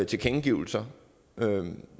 tilkendegivelser